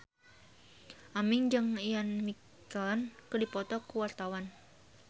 Aming jeung Ian McKellen keur dipoto ku wartawan